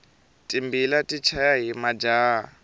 timbila ti chaya hi majaha